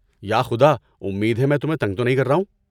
یا خدا! امید ہے میں تمہیں تنگ نہیں کر رہا ہوں۔